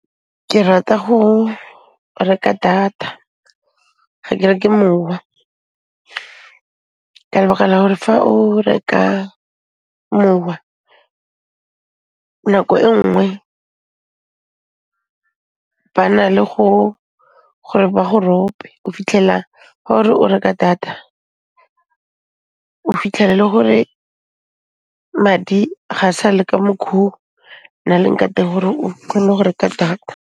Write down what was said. Ke rata go reka data, ga ke reke mowa ka lebaka la gore fa o reka mowa nako e nngwe ba na le gore ba go rope, o fitlhela ga ore o reka data, o fitlhela e le gore madi ga sale ka makh'o na leng ka teng gore o kgone go reka data.